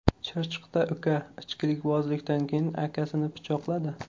Chirchiqda uka ichkilikbozlikdan keyin akasini pichoqladi.